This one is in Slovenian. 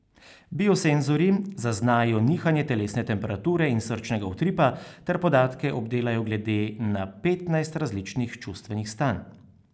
Biosenzorji zaznajo nihanje telesne temperature in srčnega utripa ter podatke obdelajo glede na petnajst različnih čustvenih stanj.